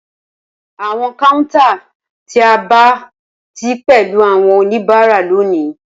Awọn counter ti a aba ti pẹlu awọn onibara loni